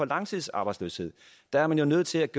langtidsarbejdsløse der er man jo nødt til at